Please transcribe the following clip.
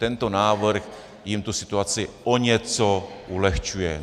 Tento návrh jim tu situaci o něco ulehčuje.